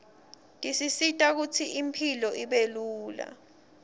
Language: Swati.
tisisita kutsi impilo ibelula